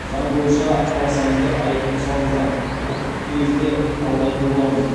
заң бойынша қаласаңыздар айыппұл салыңыздар құқықтық негізде талдайтын боламыз